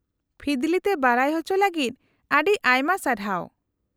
-ᱯᱷᱤᱫᱞᱤ ᱛᱮ ᱵᱟᱰᱟᱭ ᱚᱪᱚ ᱞᱟᱹᱜᱤᱫ ᱟᱹᱰᱤ ᱟᱭᱢᱟ ᱥᱟᱨᱦᱟᱣ ᱾